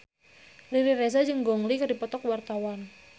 Riri Reza jeung Gong Li keur dipoto ku wartawan